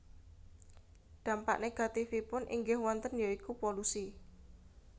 Dampak negativèipun inggih wonten ya iku polusi